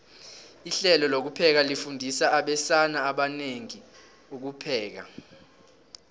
ihlelo lokupheka lifundisa abesana abanengi ukupheka